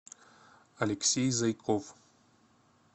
алексей зайков